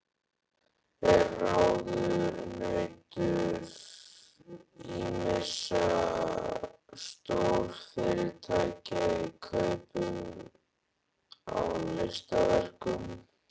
Er ráðunautur ýmissa stórfyrirtækja í kaupum á listaverkum.